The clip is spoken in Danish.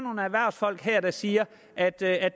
er der siger at det